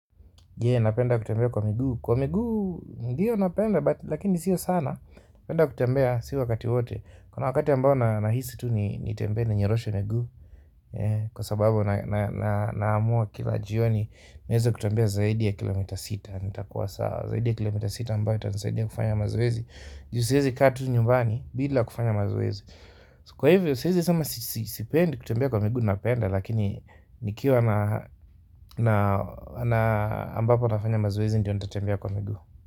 Napenda kutembea kwa miguu, kwa miguu ndio napenda, lakini siyo sana, napenda kutembea si wakati wote kuna wakati ambao nahisi tu nitembe na ninyoroshe miguu kwa sababu namua kila jioni, niweze kutembea zaidi ya kilometa sita nitakuwa sawa zaidi ya kilometa sita ambayo itanisaidia kufanya mazoezi juu siezi kaa tu nyumbani, bila kufanya mazoezi kwa hivyo, siezi sema sipendi kutembea kwa miguu napenda lakini nikiwa na ambapo nafanya mazoezi ndio nitatembea kwa miguu.